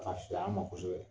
A Ka fisa an ma kosɛbɛ.